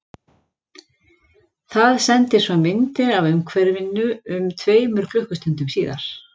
Það sendir svo myndir af umhverfinu um tveimur klukkustundum síðar.